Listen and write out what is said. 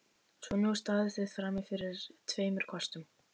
Svo nú standið þið frammi fyrir tveimur kostum.